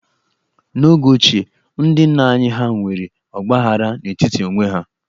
N'oge ochie, ndị nna anyị ha nwere ọgbaaghara n'etiti onwe ha.